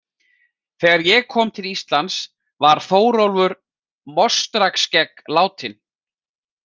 Þegar ég kom til Íslands var Þórólfur Mostrarskegg látinn.